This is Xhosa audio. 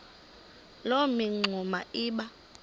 loo mingxuma iba